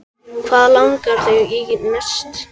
Hvað langar þig í næst?